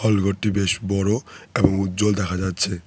ওই ঘরটি বেশ বড় এবং উজ্জ্বল দেখা যাচ্ছে।